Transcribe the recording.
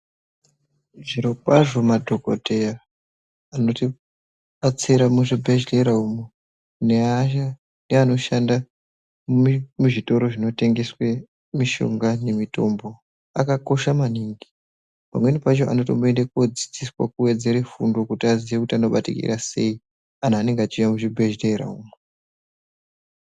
Zvirokwazvo madhokoteya anotibatsira muzvibhedhlera umo neaya anoshanda muzvitoro zvinotengese mishonga nemitombo akakosha maningi pamweni pacho anotombodzidziswa kuwedzere fundo kuti aziye kuti anobatikira sei antu anenge achiuya muzvibhedhlera umo.